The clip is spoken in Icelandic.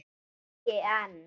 Ekki enn.